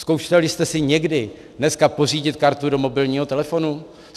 Zkoušeli jste si někdy dneska pořídit kartu do mobilního telefonu?